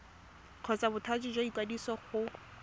kgotsa bothati jwa ikwadiso go